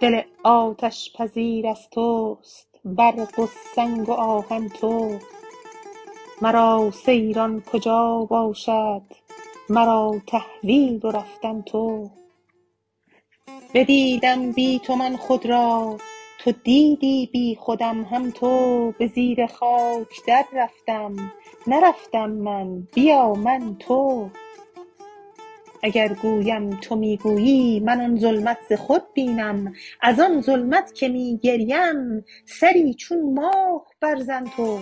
دل آتش پذیر از توست برق و سنگ و آهن تو مرا سیران کجا باشد مرا تحویل و رفتن تو بدیدم بی تو من خود را تو دیدی بیخودم هم تو به زیر خاک دررفتم نرفتم من بیا من تو اگر گویم تو می گویی من آن ظلمت ز خود بینم از آن ظلمت که می گریم سری چون ماه برزن تو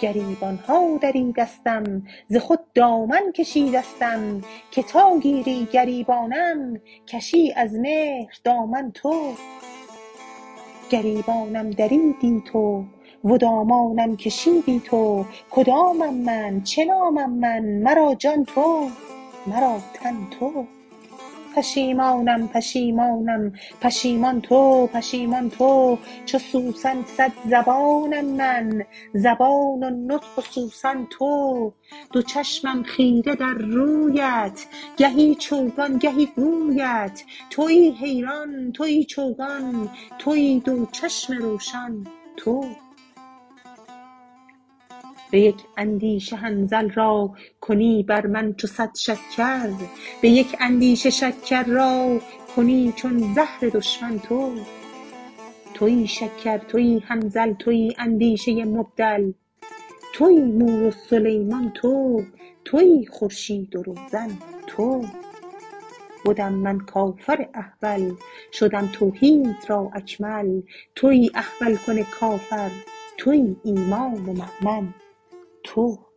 گریبانم دریدستم ز خود دامن کشیدستم که تا گیری گریبانم کشی از مهر دامن تو گریبانم دریدی تو و دامانم کشیدی تو کدامم من چه نامم من مرا جان تو مرا تن تو پشیمانم پشیمانم پشیمان تو پشیمان تو چو سوسن صد زبانم من زبان و نطق و سوسن تو دو چشمم خیره در رویت گهی چوگان گهی گویت توی حیران توی چوگان توی دو چشم روشن تو به یک اندیشه حنظل را کنی بر من چو صد شکر به یک اندیشه شکر را کنی چون زهر دشمن تو توی شکر توی حنظل توی اندیشه مبدل توی مور و سلیمان تو توی خورشید و روزن تو بدم من کافر احول شدم توحید را اکمل توی احول کن کافر توی ایمان و مؤمن تو